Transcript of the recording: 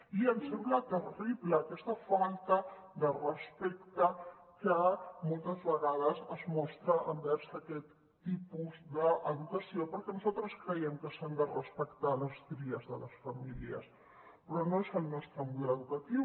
i ens sembla terrible aquesta falta de respecte que moltes vegades es mostra envers aquest tipus d’educació perquè nosaltres creiem que s’han de respectar les tries de les famílies però no és el nostre model educatiu